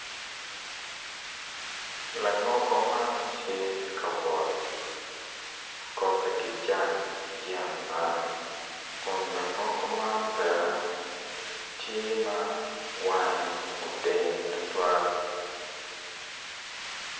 Langogo man tye ka wot kobbe ki jang yat man kun langogo man ben tye ma wange odeng tutwal.